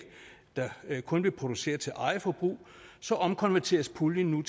der kun vil producere til eget forbrug omkonverteres puljen